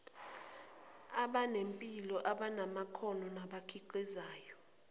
abanempilo abanamakhono nabakhiqizayo